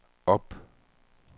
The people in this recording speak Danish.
op